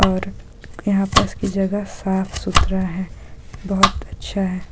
और यहाँ पास की जगह साफ-सुथरा है बहुत अच्छा हैं।